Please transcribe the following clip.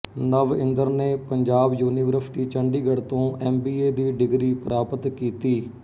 ਨਵ ਇੰਦਰ ਨੇ ਪੰਜਾਬ ਯੂਨੀਵਰਸਿਟੀ ਚੰਡੀਗੜ੍ਹ ਤੋਂ ਐਮ ਬੀ ਏ ਦੀ ਡਿਗਰੀ ਪ੍ਰਾਪਤ ਕੀਤੀ